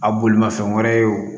A bolimafɛn wɛrɛw